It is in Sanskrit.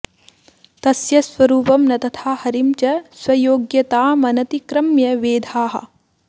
तस्य स्वरूपं न तथा हरिं च स्वयोग्यतामनतिक्रम्य वेधाः